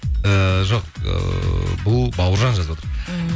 ііі жоқ ыыы бұл бауыржан жазып отыр ммм